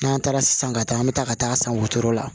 N'an taara sisan ka taa an bɛ taa ka taa san wotoro la